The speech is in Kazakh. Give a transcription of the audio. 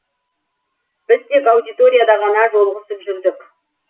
біз тек аудиторияда ғана жолығысып жүрдік